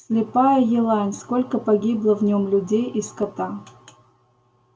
слепая елань сколько погибло в нем людей и скота